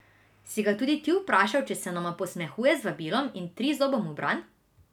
Si ga tudi ti vprašal, če se nama posmehuje z vabilom in trizobom v bran?